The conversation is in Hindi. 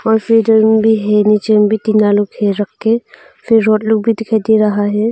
फिटर्न भी है नीचे भी टीना लोग घेर रख के फिर रोड लोग भी दिखाई दे रहा है।